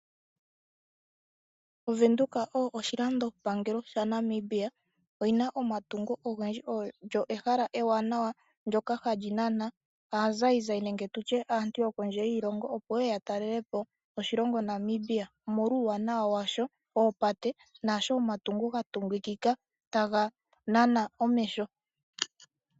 Ovenduka oyo oshilandopangelo shaNamibia. Oyi na omatungo ogendji. Olyo ehala ewanawa ndyoka hali nana aazayizayi nenge tu tye aantu yokondje yiilongo, opo ye ye ya talele po oshilongo Namibia, omolwa uuwanawa washo woopate naashi omatungo ga tungikika taga nana omeho.